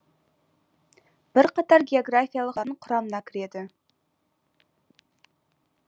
бірқатар географиялық атаулардың құрамына кіреді